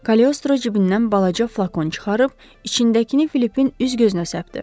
Kaleostro cibindən balaca flakon çıxarıb içindəkini Filipin üz-gözünə səpdi.